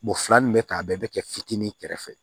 Mɔgɔ fila min bɛ k'a bɛɛ bɛ kɛ fitinin kɛrɛfɛ